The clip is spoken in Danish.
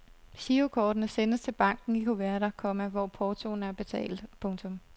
Girokortene sendes til banken i kuverter, komma hvor portoen er betalt. punktum